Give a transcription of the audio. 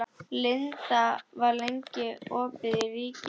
Linda, hvað er lengi opið í Ríkinu?